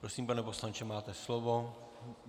Prosím, pane poslanče, máte slovo.